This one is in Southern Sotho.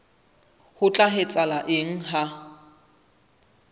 ho tla etsahala eng ha